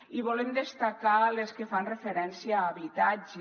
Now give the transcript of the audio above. i volem destacar les que fan referència a habitatge